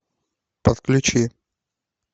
подключи